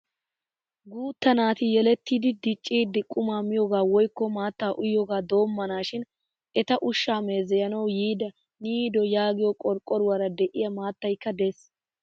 Guutta naati yelettidi diccidi qumaa miyogaa woykko maatta uyiyogaa doommanaashin eta ushshaa meezeyanawu yiida Niido yaagiyo qorqqoruwaraa de'iya maattaykka de'ees.